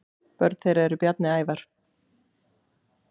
Börn þeirra eru Bjarni Ævar.